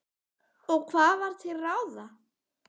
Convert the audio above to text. Og hvað var til ráða?